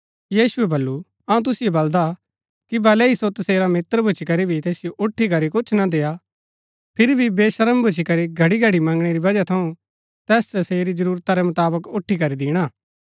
यीशुऐ वल्‍लु अऊँ तुसिओ बलदा कि भलै ही सो तसेरा मित्र भूच्ची करी भी तैसिओ उठी करी कुछ न देआ फिरी भी वेशर्म भूच्ची करी घड़ीघड़ी मंगणै री वजह थऊँ तैस तसेरी जरूरता रै मुताबक उठी करी दिणा